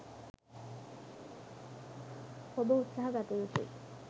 ඔබ උත්සහ ගත යුතුයි.